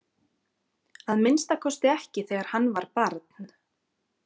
Að minnsta kosti ekki þegar hann var barn.